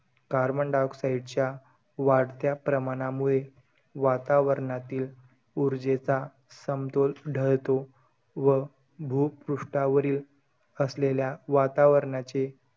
Carbon dioxide च्या वाढत्या प्रमाणामुळे, वातावरणातील उर्जेचा समतोल ढळतो. व भुपृष्ठावरील असलेल्या वातावरणाचे,